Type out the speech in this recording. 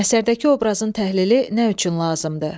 Əsərdəki obrazın təhlili nə üçün lazımdır?